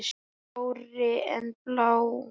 Blárri en blá.